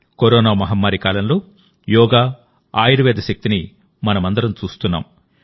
corona మహమ్మారి కాలంలో యోగా ఆయుర్వేద శక్తిని మనమందరం చూస్తున్నాం